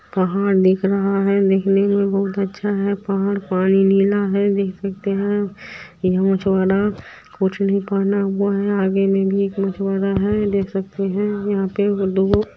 पहाड़ दिख रहा है देखने में बहुत अच्छा है पहाड़ पानी नीला है देख सकते है मछवारा कुछ नहीं निकाला हुआ है आगे में भी मछवारा है दुगो---